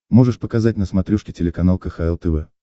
можешь показать на смотрешке телеканал кхл тв